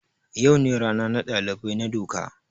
Yau ne rana na dalibai na doka.